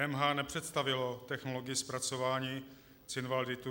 EMH nepředstavilo technologii zpracování cinvalditu.